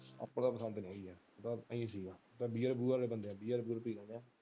ਆਪ ਨੇ ਪਸੰਦ ਨਹੀਂ ਹੇਗਾ ਇਹ ਚੀਜ beer ਬੂਅਰ ਵਾਲੇ ਬੰਦੇ ਆ beer ਬੂਅਰ ਪੀ ਲੈਂਦੇ ਆ।